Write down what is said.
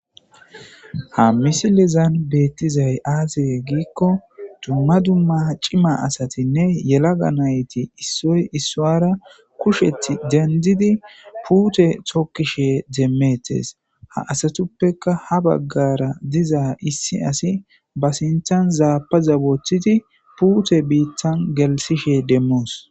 Ha misilezan betizay aaze gikon dumma dumma cima asatinne yelaga nayt issoy isara kushet dendid pute tokishe demetes. Ha assatippe ha bagara diza issi asi be sintan zapaza wothid puute bitan gelithishe demos.